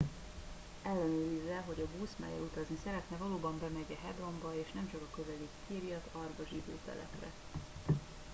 ellenőrizze hogy a busz mellyel utazni szeretne valóban bemegy e hebronba és nemcsak a közeli kiryat arba zsidó telepre